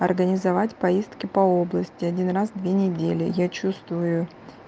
организовать поездки по области один раз в две недели я чувствую